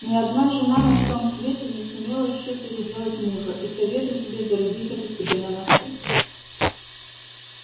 ни одна жена на всём свете не сумела ещё переделать мужа и советую тебе зарубить это себе на носу